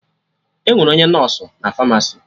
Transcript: Enwere onye nọsụ nọ na Famasi